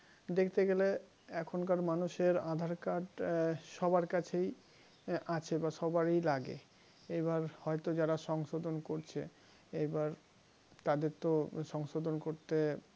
দেখতে গেলে এখনকার মানুষের aadhar card সবার কাছেই আছে বা সবারই লাগে এবার হয়তো যারা সংশোধন করছে এবার তাদের তো সংশোধন করতে